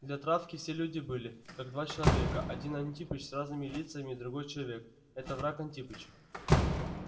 для травки все люди были как два человека один антипыч с разными лицами другой человек это враг антипыч